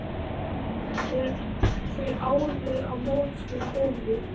Þeir áðu á móts við Bólu.